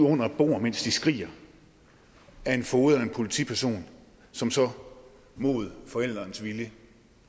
under et bord mens de skriger af en foged eller en politiperson som så mod forælderens vilje